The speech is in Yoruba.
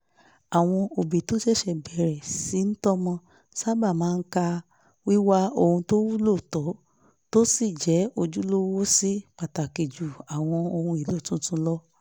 àwọn òbí tó ṣẹ̀ṣẹ̀ bẹ̀rẹ̀ sí í tọ́mọ sábà máa ń ka wíwá ohun tó wúlò tó sì jẹ́ ojúlówó sí pàtàkì ju àwọn ohun èlò tuntun lọ